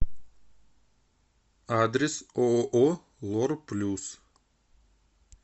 адрес ооо лор плюс